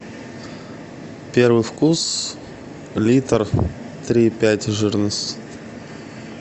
первый вкус литр три и пять жирность